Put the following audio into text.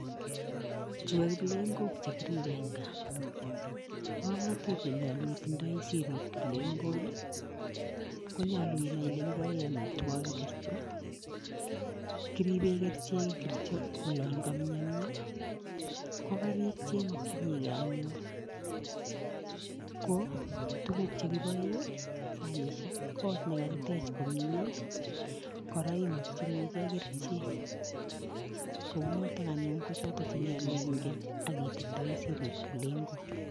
Chu ko kiplengok chekiribe en kaa ngomnotet nenyolu itindoi sirib kiplengok ii konyolu inai ile kiboen omitwogik ingirjo kiriben kerichek olon komionio kokarik chemokyinigee anyun ko tuguk chekiboe sanisiek, kot nekakitech komie koraa imokyinigee kerichek kounoton anyun kochoton tuguk chenyolu ingen ak itindoi sirip kiplengok.